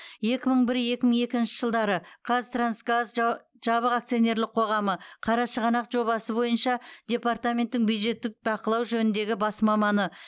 екі мың бір екі мың екінші жылдары қазтрансгаз жабық акционерлік қоғамы қарашығанақ жобасы бойынша департаменттің бюджеттік бақылау жөніндегі бас маманы